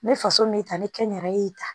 N bɛ faso min ta ne kɛnɛrɛ ye ta